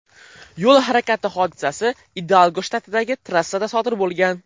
Yo‘l harakati hodisasi Idalgo shtatidagi trassada sodir bo‘lgan.